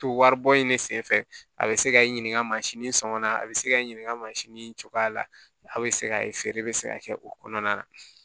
To waribɔ in de senfɛ a bɛ se ka n ɲininka sɔngɔ la a bɛ se k'i ɲininka mansin cogoya la a bɛ se k'a ye feere bɛ se ka kɛ o kɔnɔna na